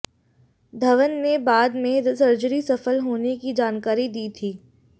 धवन ने बाद में सर्जरी सफल होने की जानकारी दी थी